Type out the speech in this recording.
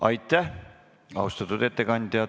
Aitäh, austatud ettekandja!